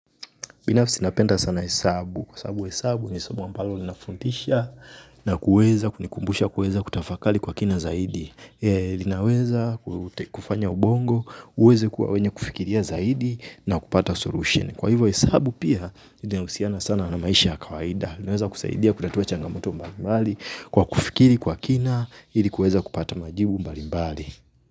Binafsi napenda sana hesabu. Kwa hesabu hesabu ni somo ampalo linafuntisha na kuweza, kunikumbusha, kuweza kutafakali kwa kina zaidi. Linaweza kufanya ubongo, uweze kuwa wenye kufikiria zaidi na kupata solution. Kwa hivyo hesabu pia, ina husiana sana na maisha kawaida. Linaweza kusaidia, kutatua changamoto mbali mbali, kwa kufikiri kwa kina, hili kuweza kupata majibu mbali mbali.